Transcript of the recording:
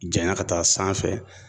Janya ka taa sanfɛ